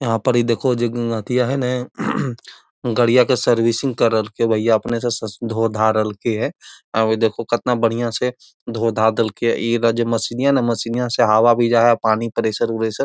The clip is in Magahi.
यहाँ पर इ देखो जो अथिया है न गड़िया के सर्विसिंग कर रहलकै हे भैया अपने से धो धा रहलकै हे औ उ देखो कतना बढ़िया से धो धा देलकै हे | इ ज मशीनिया है न मशीनिया से हवा भी जा हई अ पानी प्रेसर उरेसर --